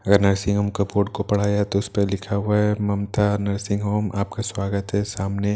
अगर nursing home का board को पढ़ा जाए तो उस पर लिखा हुआ है ममता नर्सिंग होम आपका स्वागत है सामने--